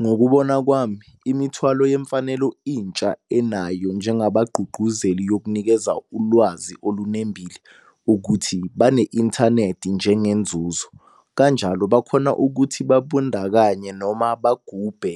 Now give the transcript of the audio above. Ngokubona kwami imithwalo yemfanelo intsha enayo njengabagqugquzeli yokunikeza ulwazi olunembile ukuthi bane-inthanethi njengenzuzo. Kanjalo bakhona ukuthi babundakanye noma bagubhe